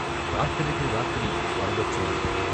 రాత్రికి రాత్రి వరదొచ్చింది.